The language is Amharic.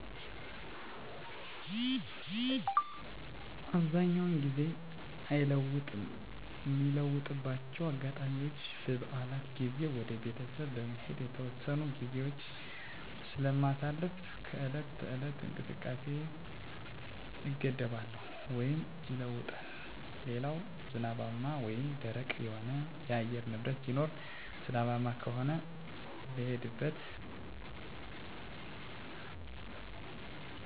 አብዛኛውን ጊዜ አይለወጥም ሚለወጥባቸው አጋጣሚዎች በበዓላት ጊዜ ወደ ቤተሰብ በመሄድ የተወሰኑ ግዜዎች ስለማሳልፍ ከዕለት ተዕለት እንቅስቃሴየ እገደባለው ወይም ይለወጣል ሌላው ዝናባማ ወይም ደረቅ የሆነ የአየር ንብረት ሲኖር ዝናባማ ከሆነ ልሄድበት ካሰብኩት ወይም ከወሰንኩት ቦታ ለመድረስ ጥላ እጠቀማለሁ በጥላ ማልቋቋመው ከሆነ ቀኑን አስተላልፋለሁ የአየር ንብረቱ ደረቅ ወይም ፀሀያማ ከሆነ አብዛኛውን ጊዜ ከእንቅስቃሴ አልገደብም ወይም እንቅስቃሴየ አይለዋወጥም